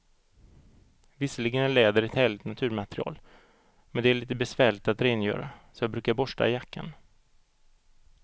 Visserligen är läder ett härligt naturmaterial, men det är lite besvärligt att rengöra, så jag brukar borsta jackan.